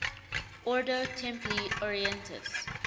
ordo templi orientis